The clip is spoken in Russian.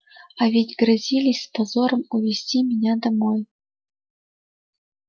а ведь грозились с позором увезти меня домой